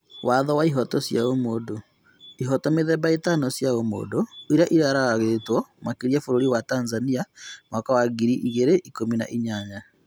Watho wa ihoto cia ũmũndũ: ihooto mĩthemba ĩtano cia ũmũndũ iria iragararĩtwo makĩria bũrũri wa Tanzania mwaka wa ngiri igĩrĩ ikumi na inyanya